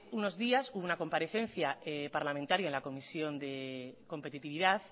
unos días hubo una comparecencia parlamentaria en la comisión de competitividad